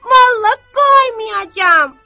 Vallah qoymayacam!